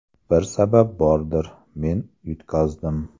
Bir sabab bordir, men yutqazdim.